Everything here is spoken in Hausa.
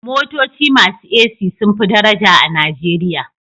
Motoci masu AC sun fi daraja a Najeriya